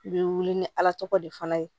I bɛ wuli ni ala tɔgɔ de fana ye